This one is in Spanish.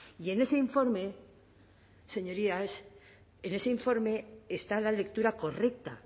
y en ese informe señorías en ese informe está la lectura correcta